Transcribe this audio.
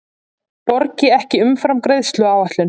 Borgi ekki umfram greiðsluáætlun